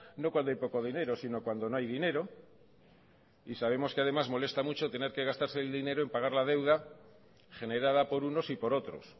no cuando hay poco dinero sino cuando no hay dinero y sabemos que además molesta mucho tener que gastarse el dinero en pagar la deuda generada por unos y por otros